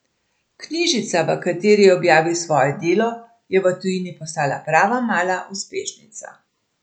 Knjižica, v kateri je objavil svoje delo, je v tujini postala prava mala uspešnica.